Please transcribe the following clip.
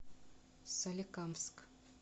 соликамск